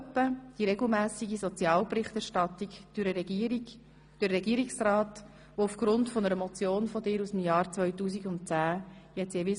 So etwa die regelmässige Sozialberichterstattung durch den Regierungsrat, welche jetzt jeweils aufgrund einer Motion von dir aus dem Jahr 2010 erfolgt.